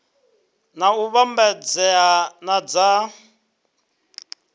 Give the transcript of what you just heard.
na u vhambedzea na dza